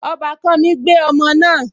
Ọbàkan mi gbé ọmọ náà